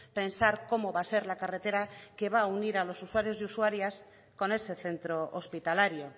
pensar cómo va a ser la carretera que va a unir a los usuarios y usuarias con ese centro hospitalario